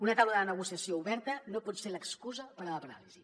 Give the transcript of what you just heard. una taula de negociació oberta no pot ser l’excusa per a la paràlisi